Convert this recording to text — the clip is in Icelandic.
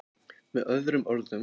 Með öðrum orðum.